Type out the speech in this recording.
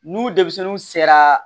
N'u denmisɛnninw sera